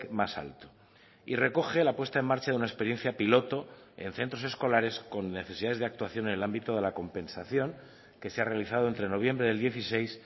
más alto y recoge la puesta en marcha de una experiencia piloto en centros escolares con necesidades de actuación en el ámbito de la compensación que se ha realizado entre noviembre del dieciséis